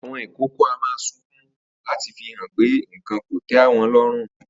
Àwo̩n ìkókó a máa sunkún láti fi hàn pé nǹkan kò té̩ wo̩n ló̩rùn